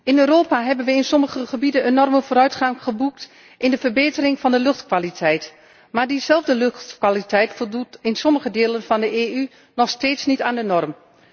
In Europa hebben we in sommige gebieden enorme vooruitgang geboekt bij de verbetering van de luchtkwaliteit, maar diezelfde luchtkwaliteit voldoet in sommige delen van de EU nog steeds niet aan de norm.